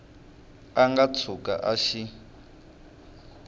a nga tshuka a xi